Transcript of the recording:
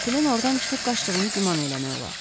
Qatilin ordan çıxıb qaçdığını güman eləmək olar.